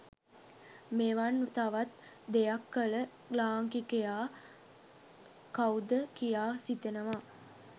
මෙවන් තවත් දෙයක් කල ලාංකිකයා කව්ද කියා සිතෙනවා